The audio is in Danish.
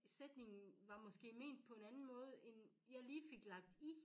Sætningen var måske ment på en anden måde end jeg måske lige fik lagt i